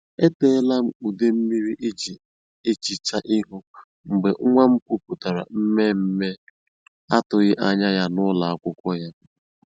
E ṭeela m ude mmiri eji ehicha ihu mgbe nwa m kwupụtara mmemme atụghị anya ya n’ụlọ akwụkwọ ya.”